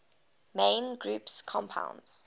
main group compounds